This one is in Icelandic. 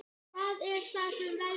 Hvað er það sem veldur?